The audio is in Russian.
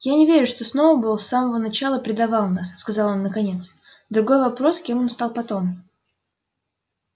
я не верю что сноуболл с самого начала предавал нас сказал он наконец другой вопрос кем он стал потом